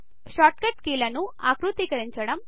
short cut కీలను ఆకృతీకరించడం